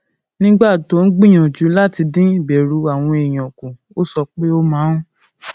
nígbà tó ń gbìyànjú láti dín ìbẹrù àwọn èèyàn kù ó sọ pé ó máa ń